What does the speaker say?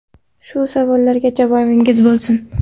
Shu savollarga javobingiz bo‘lsin.